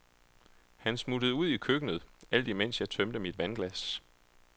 Han smuttede ud i køkkenet, alt mens jeg tømte mit vandglas.